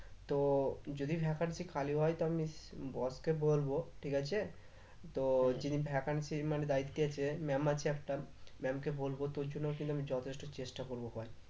তো যদি vacancy খালি হয় তো আমি boss কে বলব ঠিক আছে? তো যিনি vacancy এর মানে দায়িত্বে আছে ma'am আছে একটা ma'am কে বলবো তোর জন্য কিন্তু আমি যথেষ্ট চেষ্টা করব ভাই।